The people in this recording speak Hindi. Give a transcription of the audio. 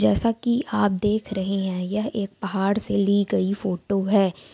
जैसा की आप देख रहे हैं यह एक पहाड़ से ली गई फोटो है।